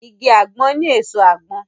Igi àgbọn ní èso àgbọn